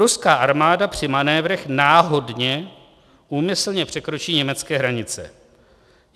Ruská armáda při manévrech 'náhodně' úmyslně překročí německé hranice.